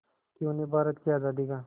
कि उन्हें भारत की आज़ादी का